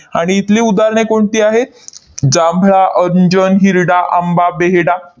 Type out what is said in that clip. आणि इथली उदाहरणे कोणती आहेत? जांभळा, अंजन, हिरडा, आंबा, बेहडा